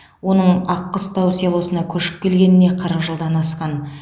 оның аққыстау селосына көшіп келгеніне қырық жылдан асқан